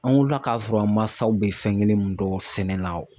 An wulila k'a sɔrɔ an masaw bɛ fɛn kelen min dɔn sɛnɛ na